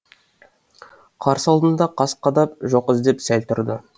қарсы алдына қас қадап жоқ іздеп сәл тұрды